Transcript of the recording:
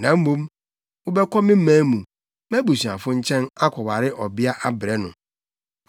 Na mmom, wobɛkɔ me man mu, mʼabusuafo nkyɛn, akɔware ɔbea abrɛ no.”